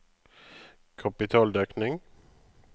kapitaldekning